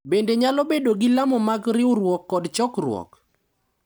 Bende nyalo bedo gi lamo mag riwruok kod chokruok,